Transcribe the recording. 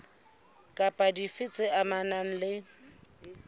kapa dife tse amanang le